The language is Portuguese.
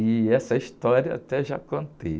E essa história até já contei.